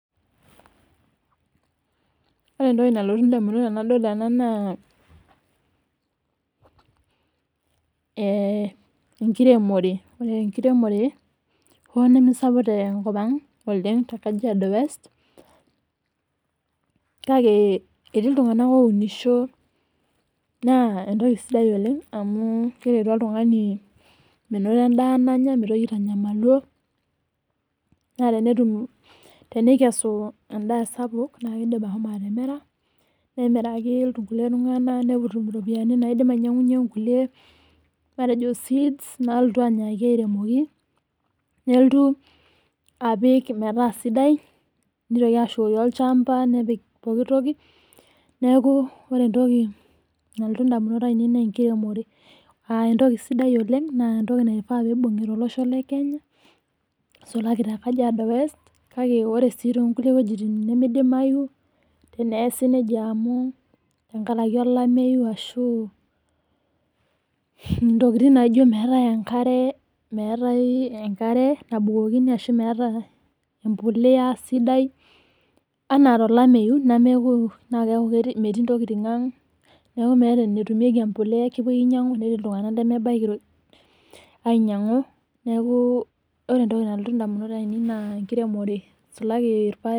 Ore entoki nalotu indamunot tenadol ena naa enkiremore. Ore enkiromore onesapuk te nkopang o te Kajiado west kake etii iltungana ounisho naa entoki sidai oleng amuu keretu oltungani menoto endaa nanya ,naaa meitoki aitanyamalio naa tenetum, teneikesu endaa sapuk naa keidim ashomo atimira ,nemiraki ilkulie tunganak netum iropiyiani naidim ainyang'unye inkulie tokitin, metejo seeds nalotu aremoki, nelotu apikmetaa sidai, neitoki ashukoki olshamba nepik pooki toki, neaku ore entoki nalotu indamunot ainei nee enkiremore aa entoki sidai oleng, naa entoki naifaa peibung'i te losho le Kenya aisulaki te Kajiaado West kake ore sii to inkulie wejitin nemeeidimayu teneesi neja amu tengaraki elameiyu ashu intokitin naijo meetae enkare, meatae enkare nebukokini ashu meetae empolea sidai anaa telameiyu nemee naa keaku metii intokitin aang", naaku meeta netumieki empolea, kepoi ainyang'u netii iltungana lemebaki ainyang'u neaku ore entoki nalotu indamunot ainei naa enkiremore eisulaki irpaek.